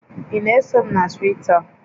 Ị na-eso m na Twita?